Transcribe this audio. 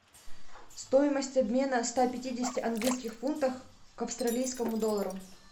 стоимость обмена ста пятидесяти английских фунтов к австралийскому доллару